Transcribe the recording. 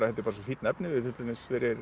þetta er bara svo fínn efniviður til dæmis fyrir